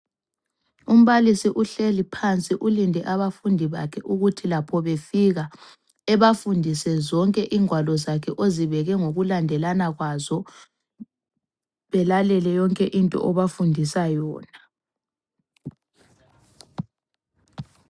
Umbalisi uhleli phansi ulinde abafundi bakhe ukuthi lapho befika ,ebafundise zonke ingwalo zakhe ozibeke ngokulandelana kwazo. Belalele yonke into abafundisa yona.